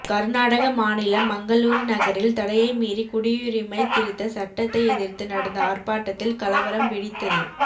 கர்நாடக மாநிலம் மங்களூரு நகரில் தடையை மீறி குடியுரிமை திருத்த சட்டத்தை எதிர்த்து நடந்த ஆர்ப்பாட்டத்தில் கலவரம் வெடித்தது